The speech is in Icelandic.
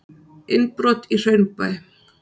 Innbrot í Hraunbæ